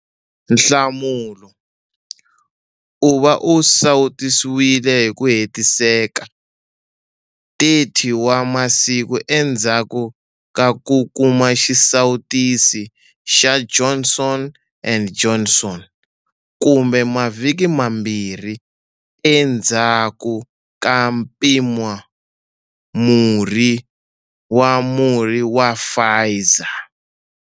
Nhlamulo- U va u sawutisiwile hi ku hetiseka 30 wa masiku endzhaku ka ku kuma xisawutisi xa Johnson and Johnson kumbe mavhiki mambirhi endzhaku ka mpimamurhi wa murhi wa Pfizer.